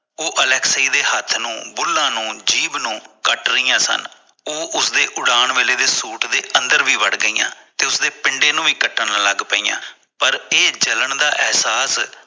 ਉਹ ਅਲੈਕਸੀ ਦੇ ਹੱਥ ਨੂੰ ਬੁਲ੍ਹਾਂ ਨੂੰ ਜੀਬ ਨੂੰ ਕਟ ਰਹੀਆਂ ਸਨ ਉਹ ਉਸਦੇ ਉਡਾਨ ਵਲੇ ਦੇ ਸੂਟ ਦੇ ਅੰਦਰ ਵੀ ਵੜ ਗਇਆ ਤੇ ਉਸਦੇ ਪਿੰਡੇ ਨੂੰ ਵੀ ਕੱਟਣ ਲਗਣ ਪਇਆ ਪਰ ਇਹ ਜਲਣ ਦਾ ਇਹਸਾਸ